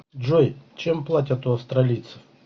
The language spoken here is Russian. джой чем платят у австралийцев